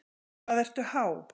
Hvað ertu há?